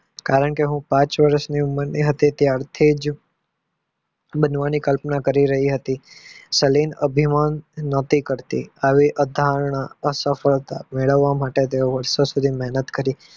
કારણ કે હું પાંચ વર્ષની ઉંમર હતી ત્યારથી જ બનવાની કલ્પના કરી રહી હતી અસફળતા મેળવવા માટે મહેનત કરી.